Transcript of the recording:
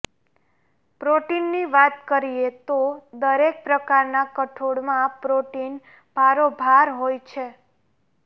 પ્રોટીનની વાત કરીએ તો દરેક પ્રકારનાં કઠોળમાં પ્રોટીન ભારોભાર હોય છે